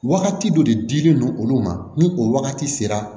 Wagati dɔ de dilen don olu ma ni o wagati sera